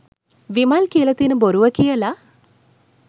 විමල් කියලා තියෙන බොරුව කියලා?